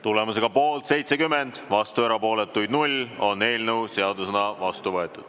Tulemusega poolt 70, vastu ja erapooletuid null, on eelnõu seadusena vastu võetud.